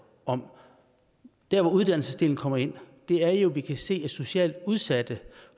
om der hvor uddannelsesdelen kommer ind er jo at vi kan se at socialt udsatte